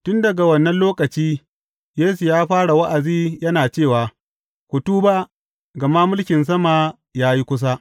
Tun daga wannan lokaci, Yesu ya fara wa’azi yana cewa, Ku tuba, gama mulkin sama ya yi kusa.